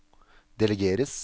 delegeres